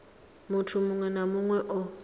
muthu muṅwe na muṅwe o